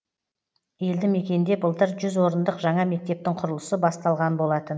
елді мекенде былтыр жүз орындық жаңа мектептің құрылысы басталған болатын